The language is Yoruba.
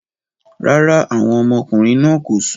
Rárá, àwọn ọmọkùnrin náà kò sùn